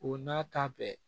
O n'a ta bɛɛ